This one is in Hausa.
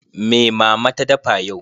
Me Mama ta dafa yau?